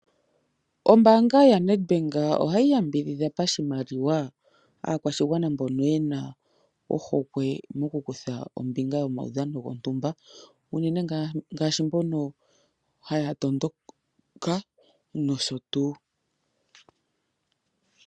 Ombaanga ya Nedbank ohayi yambidhidha pashimaliwa aakwashigwana mbono yena ohokwe mokukutha ombinga yomaudhano gontumba, uunene ngaashi mbono haya tondoka nosho tuu.